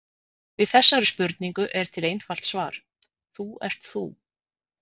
Við þessari spurningu er til einfalt svar: Þú ert þú.